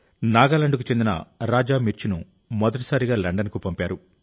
నాగాలాండ్కు చెందిన రాజా మిర్చ్ను మొదటిసారిగా లండన్కు పంపారు